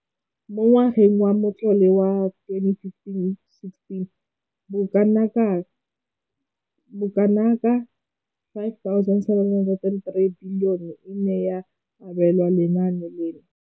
Mo ngwageng wa matlole wa 2015,16, bokanaka R5 703 bilione e ne ya abelwa lenaane leno.